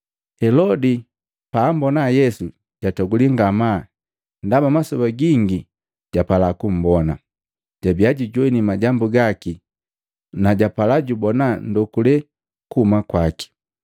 Helodi pa ambona Yesu, jatogulii ngamaa ndaba masoba gingi japala kumbona. Jabia jujoini majambu gaki na japala jubona ndonduke kuhuma kwaki.